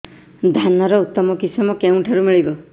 ଧାନର ଉତ୍ତମ କିଶମ କେଉଁଠାରୁ ମିଳିବ